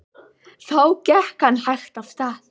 Þá gekk hann hægt af stað.